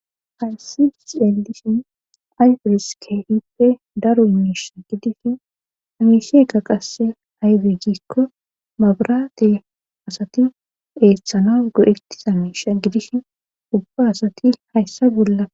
ayssi xeelishin ayfes keehippe daru miisha gidishin amiisheka qasse ayde gikko mabraate asati eethtshalon go7ettisa miisha gidishin ubba asati hayssa bolla